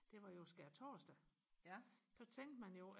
det var jo skærtorsdag så tænkte man jo